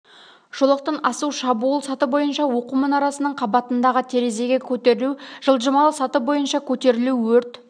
жолақтан асу шабуыл саты бойынша оқу мұнарасының қабатындағы терезеге көтерілу жылжымалы саты бойынша көтерілу өрт